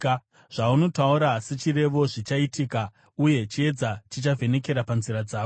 Zvaunotaura sechirevo zvichaitika, uye chiedza chichavhenekera panzira dzako.